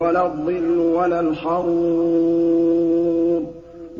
وَلَا الظِّلُّ وَلَا الْحَرُورُ